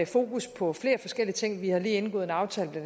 fokus på flere forskellige ting vi har lige indgået en aftale med